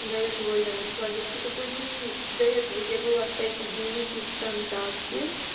до этого я начала вести такой дневник до этого я вела всякие дневники вконтакте